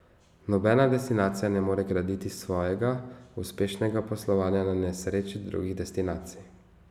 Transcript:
Nobena destinacija ne more graditi svojega uspešnega poslovanja na nesreči drugih destinacij.